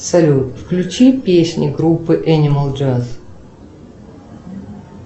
салют включи песню группы энимал джаз